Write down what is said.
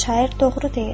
Şair doğru deyir.